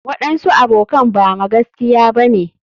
waɗansu abokan Bama gaskiya bane.